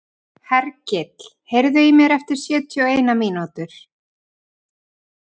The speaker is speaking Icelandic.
Hergill, heyrðu í mér eftir sjötíu og eina mínútur.